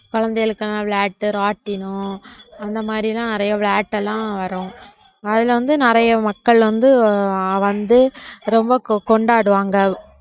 குழந்தைகளுக்கெல்லாம் விளையாட்டு ராட்டினம் அந்த மாதிரி எல்லாம் நிறைய விளையாட்டு எல்லாம் வரும் அதுல வந்து நிறைய மக்கள் வந்து வந்து ரொம்ப கொண்டாடுவாங்க